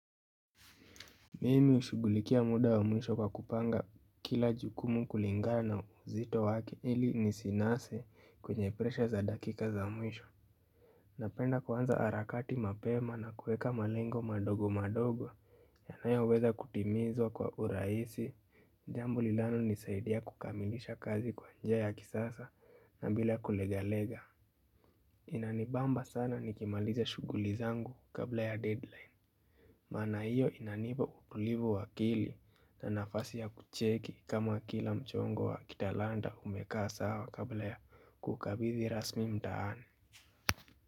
Mimi hushugulikia muda wa mwisho kwa kupanga kila jukumu kulingana uzito wake, ili nisinase kwenye presha za dakika za mwisho. Napenda kuanza harakati mapema na kuweka malengo madogo madogo, yanayoweza kutimizwa kwa urahisi, jambo linalonisaidia kukamilisha kazi kwa njia ya kisasa na bila kulegalega. Inanibamba sana nikimaliza shughuli zangu, kabla ya deadline. Maana hiyo inanipa utulivu wa akili. Na nafasi ya kucheki kama kila mchongo wa kitalanda umekaa sawa kabla ya kuukabidhi rasmi mtaani.